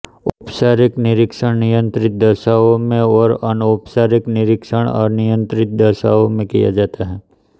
औपचारिक निरीक्षण नियंत्रित दशाओं में और अनौपचारिक निरीक्षण अनियंत्रित दशाओं में किया जाता है